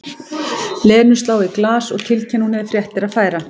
Lenu slá í glas og tilkynna að hún hefði fréttir að færa.